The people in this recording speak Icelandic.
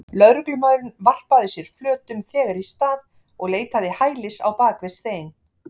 Lögreglumaðurinn varpaði sér flötum þegar í stað og leitaði hælis á bak við stein.